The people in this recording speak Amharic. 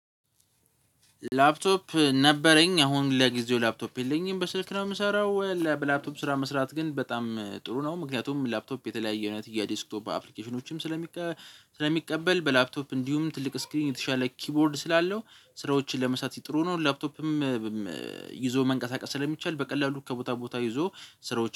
ላፕቶፕ ነበረኝ አሁን ለጊዜው ላፕቶፕ የለኝም በስልክ ነው የምሰራው ለበላፕቶፕ ስራ መስራት ግን በጣም ጥሩ ነው። ምክንያቱም ላፕቶፕ የተለያየ እውነት የዲስክቶፕ አፕሊኬሽኖችም ስለሚቀበል በላፕቶፕ እንዲሁም ትልቅ ስክሪን የተሻለ ኪቦርድ ስላለው ስራዎችን ለመሳት ጥሩ ነው። ላፕቶፕም ይዞ መንቀሳቀስ ስለሚቻል በቀላሉ ከቦታ ቦታ ይዞ ስራዎች